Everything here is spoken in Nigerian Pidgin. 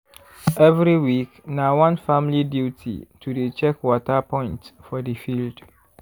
every week na one family duty to dey check water point for the field.